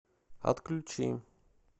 отключи